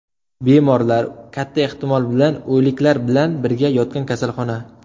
Bemorlar, katta ehtimol bilan, o‘liklar bilan birga yotgan kasalxona.